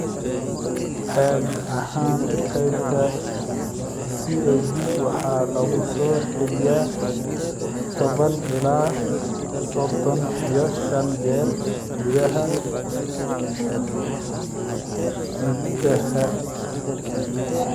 Caadi ahaan, qaybta CAG waxaa lagu soo celiyaa toban ilaa sodon iyo shan jeer gudaha hiddaha.